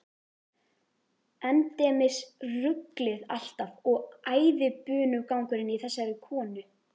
Endemis ruglið alltaf og æðibunugangurinn í þessari konu.